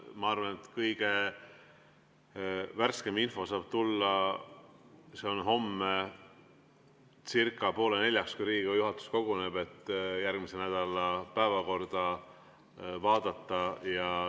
Ma arvan, et kõige värskem info saab tulla homme circa poole neljaks, kui Riigikogu juhatus koguneb, et järgmise nädala päevakorda vaadata.